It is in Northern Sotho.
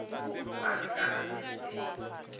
ba le ka lapeng le